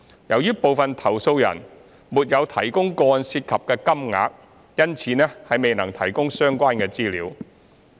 由於部分投訴人沒有提供個案涉及的金額，因此未能提供相關資料。